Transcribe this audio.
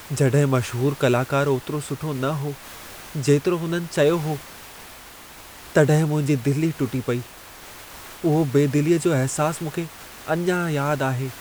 जॾहिं मशहूरु कलाकारु ओतिरो सुठो न हो जेतिरो हुननि चयो हो, तॾहिं मुंहिंजी दिलि ई टुटी पेई, उहो बेदिलीअ जो अहिसासु मूंखे अञां यादि आहे।